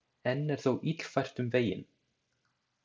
Enn er þó illfært um veginn.